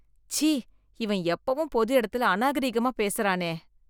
ச்சீ, இவன் எப்பவும் பொது இடத்துல அநாகரீகமா பேசறானே.